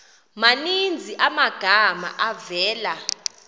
maninzi amagama avela